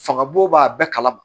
Fanga bon b'a bɛɛ kalama